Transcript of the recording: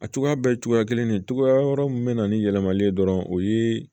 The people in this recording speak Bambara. A cogoya bɛɛ ye cogoya kelen de cogoya wɛrɛ min bɛ na ni yɛlɛmalen ye dɔrɔn o ye